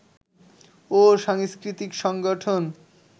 ও সাংস্কৃতিক সংগঠন